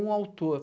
Um autor.